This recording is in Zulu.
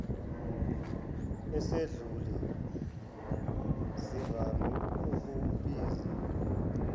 esedlule zivame ukubiza